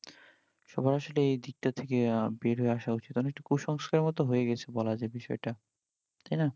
সবার আসলে এই দিক টা থেকে বের হয়ে আসা উচিৎ, অনেকটা কুসংস্কারের মতো হয়েগেছে বলা যাই বিষয়ই টা তাই না